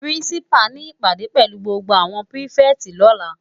Pirinsipá ni ipádé pèlú gbógbó áwòn pirifèti lòlá